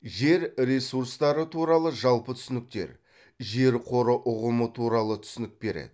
жер ресурстары туралы жалпы түсініктер жер қоры ұғымы туралы түсінік береді